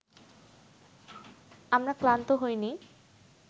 আমরা ক্লান্ত হইনি